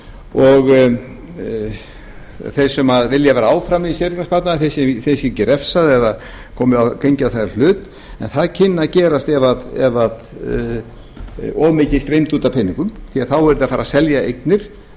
og þeir sem vilja vera áfram í séreignarsparnaðinum þeim sé ekki refsað eða gengið á þeirra hlut en það kynni að gerast ef of mikið streymdi út af peningum því þá yrði að fara að selja eignir